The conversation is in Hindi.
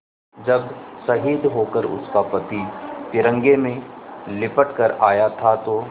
जब शहीद होकर उसका पति तिरंगे में लिपट कर आया था तो